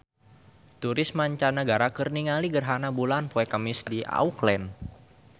Turis mancanagara keur ningali gerhana bulan poe Kemis di Auckland